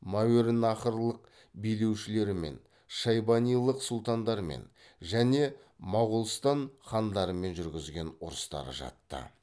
мәуереннахрлық билеушілерімен шайбанилық сұлтандармен және моғолстан хандарымен жүргізген ұрыстары жатты